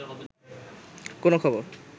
কোনো খবর